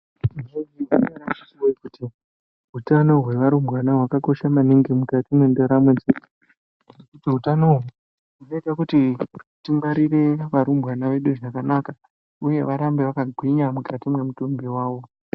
Utano wevarumbwana wakakosha maningi mukati medharamo dzedu ,hutano uyu unoita kuti tingwarire varumbwana vedu zvakanaka uya varambe mukati memutumbi wawo.